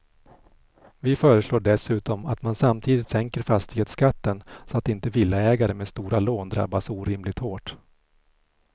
Vi föreslår dessutom att man samtidigt sänker fastighetsskatten så att inte villaägare med stora lån drabbas orimligt hårt.